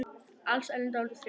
Alsæl en dálítið þreytt.